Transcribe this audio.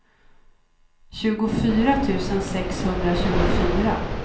tjugofyra tusen sexhundratjugofyra